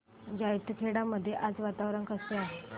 जैताखेडा मध्ये आज वातावरण कसे आहे